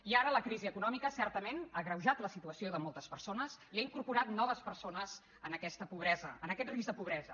i ara la crisi econòmica certament ha agreujat la situació de moltes persones i ha incorporat noves persones en aquesta pobresa en aquest risc de pobresa